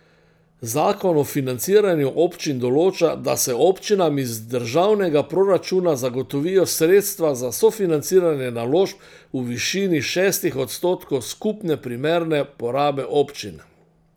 Zakon o financiranju občin določa, da se občinam iz državnega proračuna zagotovijo sredstva za sofinanciranje naložb v višini šestih odstotkov skupne primerne porabe občin.